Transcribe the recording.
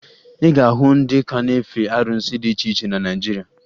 Ị ga-ahụ ndị ka na-efe arụsị dị iche iche na Naịjirịa